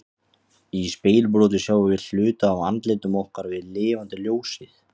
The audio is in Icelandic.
Í spegilbroti sjáum við hluta af andlitum okkar við lifandi ljósið.